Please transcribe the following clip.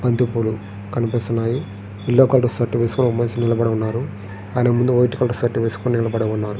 బంతి పూలు కనిపిస్తున్నాయి. యెల్లో కలర్ షర్ట్ వేసుకొని ఒక మనిషి నిలబడి ఉన్నారు. ఆయన ముందు వైట్ కలర్ షర్ట్ వేసుకొని నిలబడి ఉన్నారు.